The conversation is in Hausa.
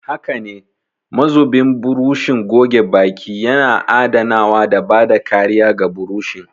Haka ne, mazubin burushin goge baki yana adanawa da bada kariya ga burushin.